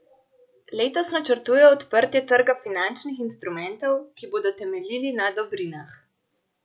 Letos načrtujejo odprtje trga finančnih instrumentov, ki bodo temeljili na dobrinah.